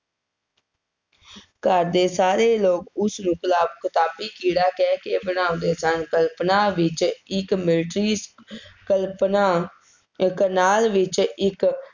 ਘਰ ਦੇ ਸਾਰੇ ਲੋਕ ਉਸਨੂੰ ਕਿਤਾਬੀ ਕੀੜਾ ਕਹਿ ਕੇ ਬੁਲਾਉਂਦੇ ਸਨ, ਕਲਪਨਾ ਵਿੱਚ ਇੱਕ military ਕਲਪਨਾ ਕਰਨਾਲ ਵਿੱਚ ਇੱਕ